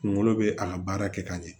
Kunkolo bɛ a ka baara kɛ ka ɲɛ